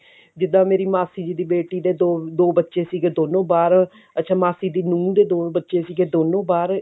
ਜਿਦਾਂ ਮੇਰੀ ਮਾਸੀ ਜੀ ਦੀ ਬੇਟੀ ਦੇ ਦੋ ਬੱਚ੍ਹੇ ਸੀਗੇ ਦੋਨੋ ਬਾਹਰ ਅੱਛਾ ਮਾਸੀ ਦੀ ਨੂਹ ਦੇ ਬੱਚੇ ਸੀਗੇ ਦੋਨੋ ਬਾਹਰ